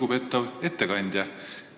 Lugupeetav ettekandja!